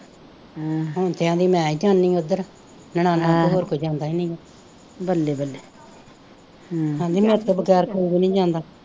ਹੁਣ ਕਹਿੰਦੀ ਮੈਂ ਹੀ ਜਾਂਦੀ ਹਾਂ ਉੱਧਰ, ਨਨਾਣਾਂ ਦੇ ਹੋਰ ਕੋਈ ਜਾਂਦਾ ਨਹੀਂ, ਬੱਲੇ ਬੱਲੇ ਕਹਿੰਦੀ ਮੇਰੇ ਤੋਂ ਬਗੈਰ ਕੋਈ ਵੀ ਨਹੀਂ ਜਾਂਦਾ